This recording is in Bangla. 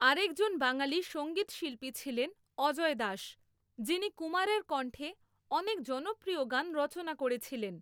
আরেকজন বাঙালি সংগীতশিল্পী ছিলেন অজয় দাস, যিনি কুমারের কণ্ঠে অনেক জনপ্রিয় গান রচনা করেছিলেন।